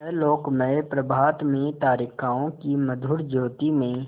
आलोकमय प्रभात में तारिकाओं की मधुर ज्योति में